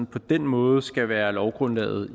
på den måde skal være lovgrundlaget